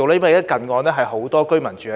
因為近岸有很多居民居住。